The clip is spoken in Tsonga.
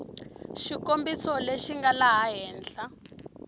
xikombiso lexi nga laha henhla